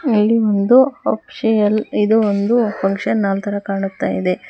ಇಲ್ಲಿ ಒಂದು ಅಫೀಷಿಯಲ್ ಇದು ಒಂದು ಫಂಕ್ಷನ್ ಹಾಲ್ ತರ ಕಾಣುತ್ತ ಇದೆ.